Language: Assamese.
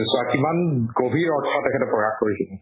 চোৱা কিমান গভীৰ অৰ্থ তেখেতে প্ৰকাশ কৰিছিল